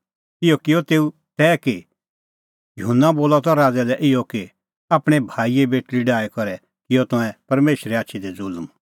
इहअ किअ तेऊ तै कि युहन्ना बोलअ त राज़ै लै इहअ कि आपणैं भाईए बेटल़ी डाही करै किअ तंऐं परमेशरे आछी दी ज़ुल्म